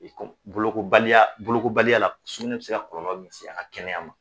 O ye kɔ, bolokobaliya bolokobaliya la sugunɛ be se ka kɔlɔlɔ min se an ka kɛnɛya ma